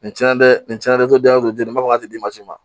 Nin cɛnnen dɛ nin cɛn na dɛ dɔ dalen don denba di ma si ma